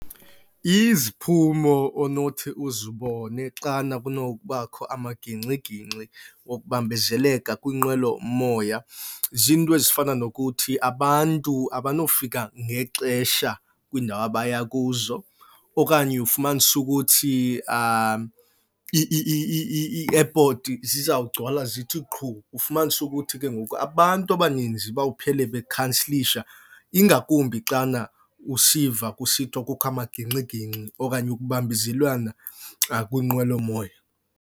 Iziphumo onothi uzibone xana kunokubakho amagingxigingxi wokubambezeleka kwinqwelomoya ziinto ezifana nokuthi abantu abanofika ngexesha kwiindawo abaya kuzo. Okanye ufumanise ukuthi i-airport zizawugcwala zithi qhu ufumanise ukuthi ke ngoku abantu abaninzi bawuphele bekhansilisha ingakumbi xana usiva kusithiwa kukho amagingxigingxi okanye ukubambezelwana kwinqwelomoya,